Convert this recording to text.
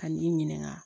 Ka n'i ɲininka